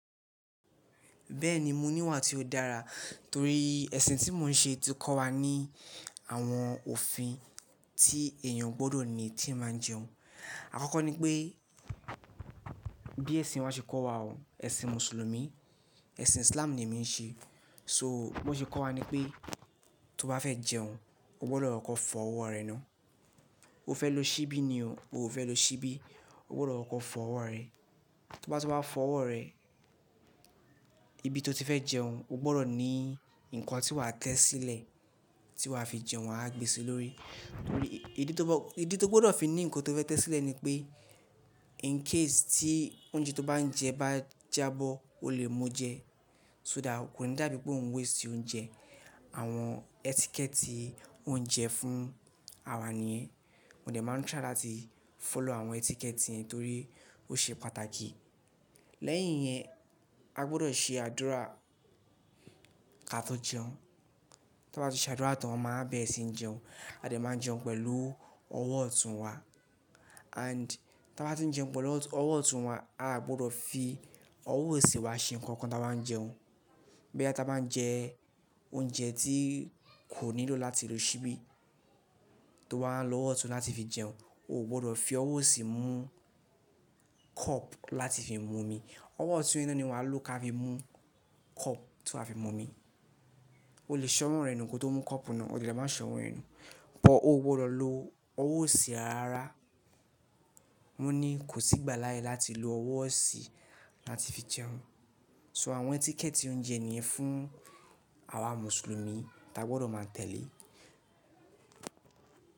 Bẹ́ẹ̀ni mo ní wà tí ó dára torí ẹ̀sìn tí mo ń ṣe ti kọ́ wa ní àwọn òfin tí èèyàn gbọ́dọ̀ ní tí ń máa jẹun. Àkọ́kọ́ ni pé bí ẹ̀sìn wa ṣe kọ́ wa ọ, ẹ̀sìn mùsùlùmí, ẹ̀sìn Islam ni èmi ń ṣe. So bi wọ́n ṣe kọ́ wa ni pé tó bá fẹ́ jẹun o gbọ́dọ̀ lọ kọ fọ ọwọ́ rẹ ná. O fẹ́ lo ṣíbí ni o, o ò fẹ́ lo ṣíbí, o gbọ́dọ̀ lọ kọ fọ ọwọ́ rẹ. Tó bá ti wá fọ ọwọ́ rẹ, ibi tó ti fẹ́ jẹun o gbọ́dọ̀ ní nǹkan tí wàá tẹ́ sílẹ̀ tí wàá fi jẹun wà á gbe sí lórí. Torí ìdí tó gbọ́dọ̀ fi ní nǹkan tó fẹ́ tẹ́ sílẹ̀ ni pé in case tí oúnjẹ tó bá ń jẹ bá jábọ́, o lè mú jẹ so that, kò ní dàbí pé òun waste oúnjẹ. Àwọn etiquette oúnjẹ fún àwa niyẹ́n, mo dẹ̀ máa ń try láti follow àwọn etiquette yẹn torí ó ṣe pàtàkì. Lẹ́yìn yẹn, a gbọ́dọ̀ ṣe àdúrà ká tó jẹun. Tó bá ti ṣe àdúrà tán wọn máa bere sìni jẹun, a dẹ̀ máa jẹun pẹ̀lú ọwọ́ ọ̀tún wa and ti aa bá ti ń jẹun pẹ̀lú ọwọ́ ọ̀tún wa, a gbọ́dọ̀ fi ọwọ́ òsì wa ṣe nǹkan táa bá ń jẹun. Boya ti abá tí wá ń jẹ oúnjẹ tí kò nílò láti lo ṣíbí, tó wà á lo ọwọ́ ọ̀tún láti fi jẹun, o ò gbọ́dọ̀ fi ọwọ́ òsì mú cup láti fi mú omi. Ọwọ́ ọ̀tún yen ná ni wàá lò ká fi mú cup tó wà á fi mú omi. O lè ṣọ́wọ́n rẹ nù kí ó tó mú cup náà, o dẹ̀ lé máa ṣọ́wọ́n ẹ nù. But o gbọ́dọ̀ lo ọwọ́ òsì rara rárá. Mo ní kò sí ìgbàláyé láti lo ọwọ́ òsì láti fi jẹun. So àwọn etiquette oúnjẹ nìyẹn fún àwa mùsùlùmí tí a gbọ́dọ̀ máa tẹ̀lé.